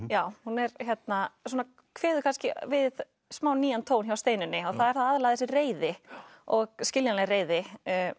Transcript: já það kveður kannski við smá nýjan tón hjá Steinunni það er þá aðallega þessi reiði og skiljanleg reiði